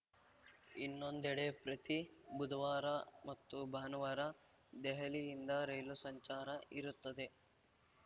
ಇನ್ನೊಂದೆಡೆ ಪ್ರತಿ ಬುಧವಾರ ಮತ್ತು ಭಾನುವಾರ ದೆಹಲಿಯಿಂದ ರೈಲು ಸಂಚಾರ ಇರುತ್ತದೆ